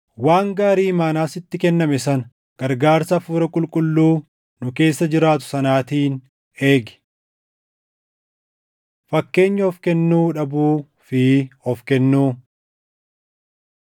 Waan gaarii imaanaa sitti kenname sana gargaarsa Hafuura Qulqulluu nu keessa jiraatu sanaatiin eegi. Fakkeenya Of Kennuu Dhabuu fi Of Kennuu